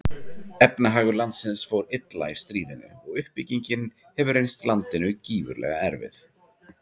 Efnahagur landsins fór illa í stríðinu og uppbyggingin hefur reynst landinu gífurlega erfið.